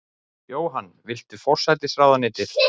Jóhann: Viltu forsætisráðuneytið?